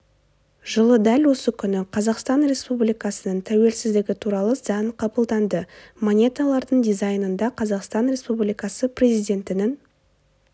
жылы дәл осы күні қазақстан республикасының тәуелсіздігі туралы заң қабылданды монеталардың дизайнында қазақстан республикасы президентінің